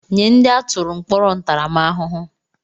Nye ndị atụrụ mkpọrọ ntaramahụhụ!